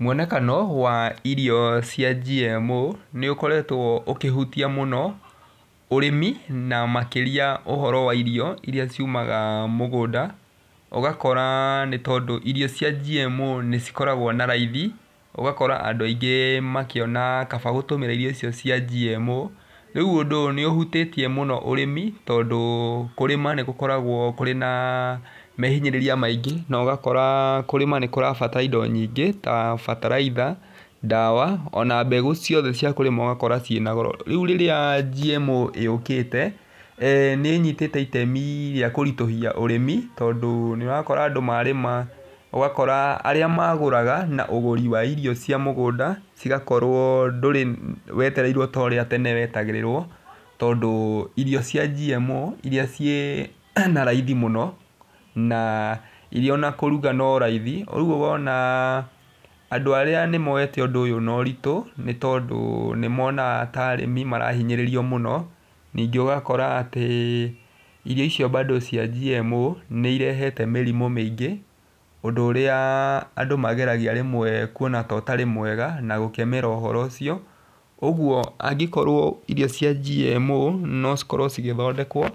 Mwonekano wa irio cia GMO nĩ ũkoretwo ũkĩhutia mũn,o ũrĩmi na makĩria ũhoro wa irio irĩa ciumaga mũgũnda. Ũgakora nĩ tondũ irio cia GMO nĩ cikoragwo na raithi ũgakora andũ aingĩ makĩona kaba gũtũmĩra irio icio cia GMO. Rĩu ũndũ ũyũ nĩ ũhutĩtie mũno ũrĩmi tondũ kũrĩma nĩ gũkoragwo kũrĩ na mehinyĩrĩria maingĩ. Na ũgakora kũrĩma nĩ kũrabatara indo nyingĩ ta bataritha, ndawa ona mbegũ ciothe cia kũrĩma ũgakora ciĩna goro. Rĩu rĩrĩa GMO yũkĩte, nĩ ĩnyitĩte itemi rĩa kũritũhia ũrĩmi tondũ nĩ ũrakora andũ marĩma, ũgakora arĩa magũraga na ũgũri wa irio cia mũgũnda, cĩgakorwo ndũrĩ wetereirwo ta ũrĩa tene wetagĩrĩrwo. Tondũ ĩrio cia GMO irĩa ciĩna raithi mũno na irĩa ona kũgura no raithi. Rĩu wona andũ arĩa nĩ moete ũndũ ũyũ na ũritũ tondũ nĩ monaga ta arĩmi marahinyĩrĩrio mũno. Ningĩ ũgakora atĩ irio icio bado cia GMO nĩ irehete mĩrimũ mĩngĩ, ũndũ ũrĩa andũ mageragia rĩmwe kuona ta ũtarĩ mwega na gũkemera ũhoro ũcio. Ũguo angĩkorwo irio cia GMO no cikorwo cigĩthondekwa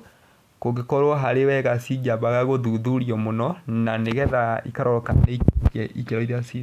kũngĩkorwo harĩ wega cingĩambaga gũthuthurio mũno, na nĩgetha ikarorwa kana ikĩro irĩa ciĩnacio.